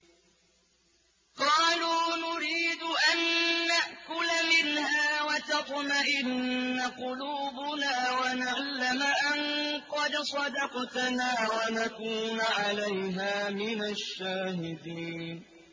قَالُوا نُرِيدُ أَن نَّأْكُلَ مِنْهَا وَتَطْمَئِنَّ قُلُوبُنَا وَنَعْلَمَ أَن قَدْ صَدَقْتَنَا وَنَكُونَ عَلَيْهَا مِنَ الشَّاهِدِينَ